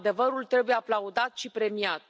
Adevărul trebuie aplaudat și premiat.